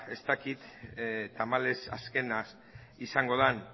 ez dakit tamalez azkena izango den